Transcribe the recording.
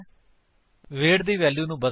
wait ਨੂੰ ਬਦਲਕੇ 40 ਤੋਂ ਘੱਟ ਦੀ ਵੈਲਿਊ ਲਵੋ